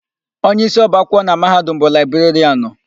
Onyeisi ọba akwụkwọ na Mahadum bụ Laịberịanụ.